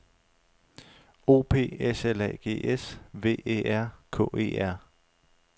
O P S L A G S V Æ R K E R